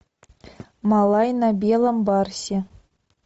малай на белом барсе